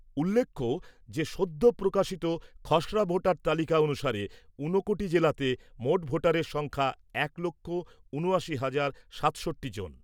উল্লেখ্য যে, সদ্য প্রকাশিত খসড়া ভোটার তালিকা অনুসারে ঊনকোটি জেলাতে মোট ভোটারের সংখ্যা এক লক্ষ ঊনআশি হাজার সাতষট্টি জন।